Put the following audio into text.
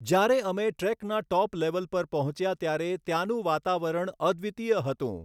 જ્યારે અમે ટ્રૅકનાં ટૉપ લૅવલ પર પહોંચ્યા ત્યારે ત્યાંનું વાતાવરણ અદ્વિતીય હતું.